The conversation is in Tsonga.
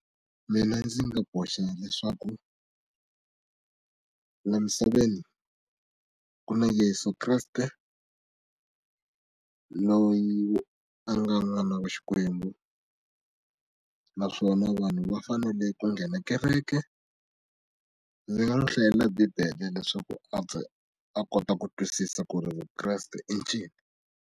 Mina ndzi nga boxa leswaku laha misaveni ku na Yeso Kreste loyi a nga n'wana wa Xikwembu naswona vanhu va fanele ku nghena kereke ndzi nga n'wi hlayela bibele leswaku a kota ku twisisa ku ri vukreste i ncini.